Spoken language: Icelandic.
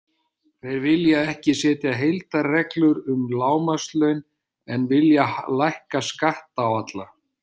Þeir vilja ekki setja heildarreglur um lágmarkslaun en vilja lækka skatta á alla.